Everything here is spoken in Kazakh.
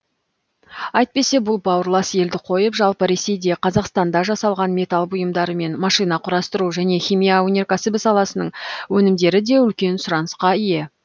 әйтпесе бұл бауырлас елді қойып жалпы ресейде қазақстанда жасалған металл бұйымдары мен машинақұрастыру және химия өнеркәсібі саласының өнімдері де үлкен сұранысқа ие